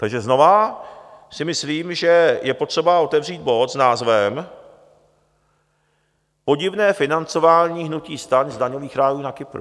Takže znovu si myslím, že je potřeba otevřít bod s názvem Podivné financování hnutí STAN z daňových rájů na Kypru.